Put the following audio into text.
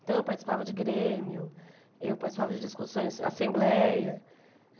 Então, eu participava de grêmio, eu participava de discussões, assembleia.